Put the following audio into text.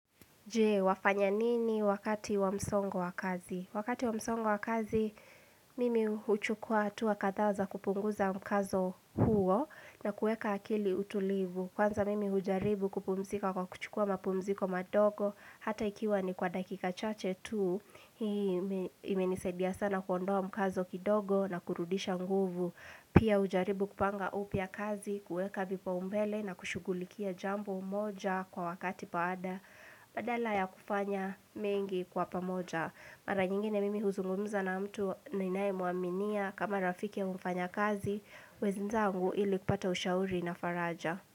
Je, wafanya nini wakati wa msongo wa kazi? Wakati wa msongo wa kazi, mimi huchukua hatua kadhaa za kupunguza mkazo huo na kuweka akili utulivu. Kwanza mimi hujaribu kupumzika kwa kuchukua mapumziko madogo, hata ikiwa ni kwa dakika chache tu. Hii imenisaidia sana kuondoa mkazo kidogo na kurudisha nguvu. Pia hujaribu kupanga upya kazi, kuweka vipaumbele na kushughulikia jambo moja kwa wakati baada. Badala ya kufanya mengi kwa pamoja, mara nyingine mimi huzungumza na mtu ninayemuaminia kama rafiki wa mfanyakazi wenzangu ili kupata ushauri na faraja.